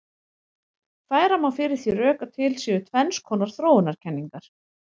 Færa má fyrir því rök að til séu tvenns konar þróunarkenningar.